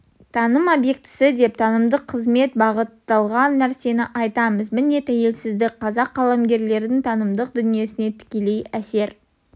таным объектісі деп танымдық қызмет бағытталған нәрсені айтамыз міне тәуелсіздік қазақ қаламгерлердің танымдық дүниесіне тікелей әсер